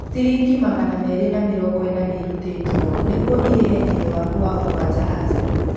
Ciringi magana merĩ na mĩrongo ĩna nĩ irutĩtwo nĩguo irĩhe thiirĩ waku wa okoa jahazi.